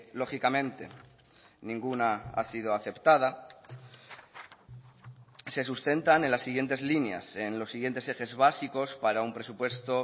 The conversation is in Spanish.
lógicamente ninguna ha sido aceptada se sustentan en las siguientes líneas en los siguientes ejes básicos para un presupuesto